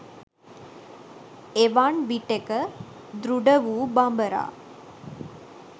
එවන් විටෙක දෘඩ වූ බඹරා